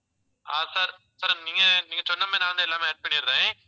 ஆஹ் sir, sir நீங்க, நீங்க சொன்ன மாதிரி நான் வந்து எல்லாமே add பண்ணிடறேன்